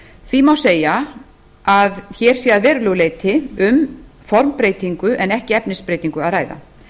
því má segja að hér sé að verulegu leyti um formbreytingu en ekki efnisbreytingu að ræða